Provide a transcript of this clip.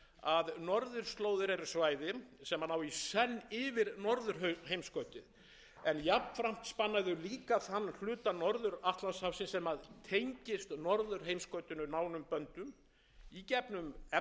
að norðurslóðir eru svæði sem ná í senn yfir norðurheimskautið en jafnframt spanna þau líka þann hluta norður atlantshafsins sem tengist norðurheimskautinu nánum böndum í gegnum efnahagsleg rök vistfræðileg